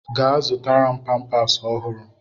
Gaa zụtara m pampas ọhụrụ!